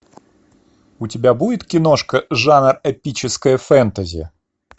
у тебя будет киношка жанр эпическое фэнтези